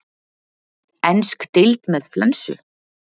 Ensk deild með flensu?